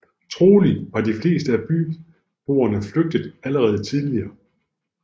Trolig var de fleste af byboerne flygtet allerede tidligere